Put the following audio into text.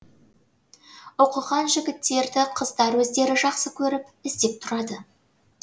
оқыған жігіттерді қыздар өздері жақсы көріп іздеп тұрады